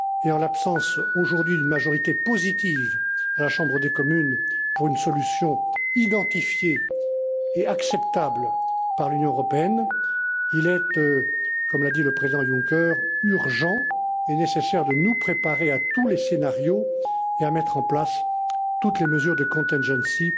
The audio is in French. Uni. En l'absence aujourd'hui d'une majorité positive à la Chambre des communes pour une solution identifiée et acceptable par l'Union européenne, il est, comme l'a dit le président Juncker, urgent et nécessaire de nous préparer à tous les scénarios et à mettre en place toutes les mesures d'urgence